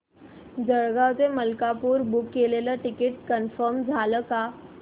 जळगाव ते मलकापुर बुक केलेलं ticket confirm झालं का